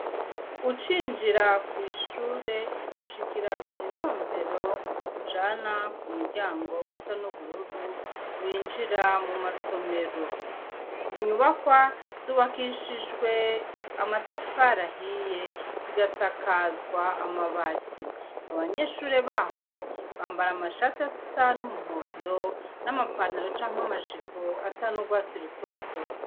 Ucinjira kw'ishur' ushikira ku muromber' ujana k' umuryang' usa n' ubururu winjira mu masomero. Inyubakwa z ubakishijw' amatafar'ahiye, zigasakazw' amabati, abanyeshure baho bambar' amashati asa n' umuhondo n' amajipo canke amapantaro asa n' urwatsi rutoto.